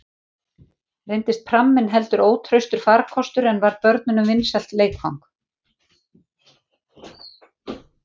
Reyndist pramminn heldur ótraustur farkostur, en varð börnunum vinsælt leikfang.